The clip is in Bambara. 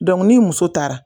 Dɔnku ni muso taara